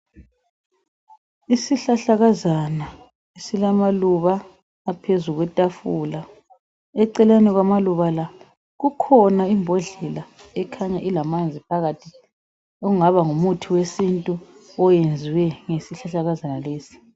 Isihlahlakazana silamaluba aphezu kwetafula eceleni kwamaluba la kukhona imbodlela ekhanya ilamanzi phakathi ongaba ngumuthi wesintu oyenzwe ngesihlahlakazana lesi.